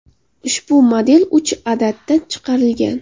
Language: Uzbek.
Ushbu model uch adadda chiqarilgan.